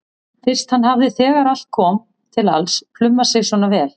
Fyrst hann hafði þegar allt kom til alls plumað sig svona vel.